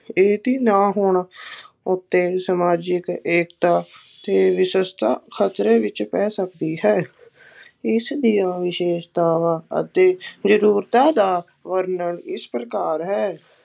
ਇਸਦੀ ਨਾ ਹੋਣ ਉੱਤੇ ਸਮਾਜਿਕ ਏਕਤਾ ਖਤਰੇ ਵਿੱਚ ਪੈ ਸਕਦੀ ਹੈ, ਇਸ ਦੀਆਂ ਵਿਸ਼ੇਸ਼ਤਾਵਾਂ ਅਤੇ ਜ਼ਰੂਰਤਾਂ ਦਾ ਵਰਣਨ ਇਸ ਪ੍ਰਕਾਰ ਹੈ,